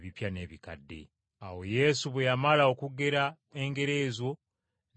Awo Yesu bwe yamala okugera engero ezo n’avaayo,